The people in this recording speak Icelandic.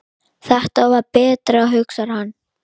Þetta var betra, hugsar hann.